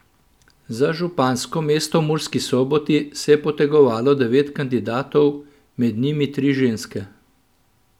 Za župansko mesto v Murski Soboti se je potegovalo devet kandidatov, med njimi tri ženske.